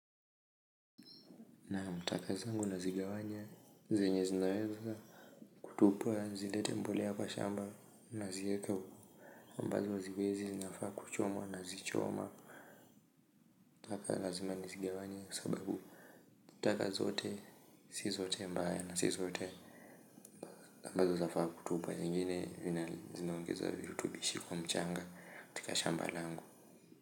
Naam, taka zangu nazigawanya zenye zinaweza kutupwa zilete mbolea kwa shamba naziweka huko ambazo haziwezi zinafaa kuchomwa nazichoma taka lazima nazigawanya sababu taka zote si zote mbaya na si zote ambazo zinafaa kutupwa zingine zinaongeza virutubishi kwa mchanga katika shamba langu.